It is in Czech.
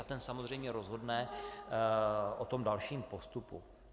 A ten samozřejmě rozhodne o tom dalším postupu.